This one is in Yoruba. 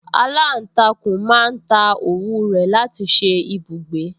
Aláǹtakùn máa ń ta òwú rẹ̀ láti ṣe ibùgbé